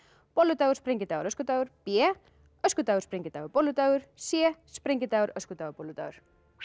bolludagur sprengidagur öskudagur b öskudagur sprengidagur bolludagur c sprengidagur öskudagur bolludagur